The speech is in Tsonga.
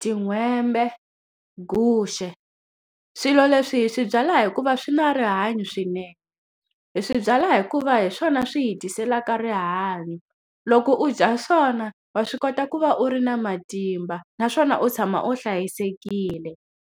tin'hwembe, guxe. Swilo leswi hi swi byala hikuva swi na rihanyo swinene. Hi swi byala hikuva hi swona swi hi tiselaka rihanyo. Loko u dya swona wa swi kota ku va u ri na matimba, naswona u tshama u hlayisekile.